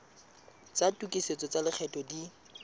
tsa tokisetso tsa lekgetho di